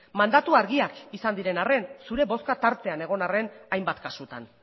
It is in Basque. mandatu argiak izan diren arren zure bozkak tartean egon arren hainbat kasutan